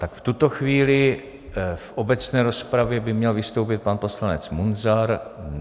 Tak v tuto chvíli v obecné rozpravě by měl vystoupit pan poslanec Munzar.